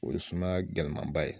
O ye sumaya gɛlɛman ba ye.